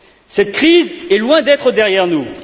Cette crise est loin d'être derrière nous.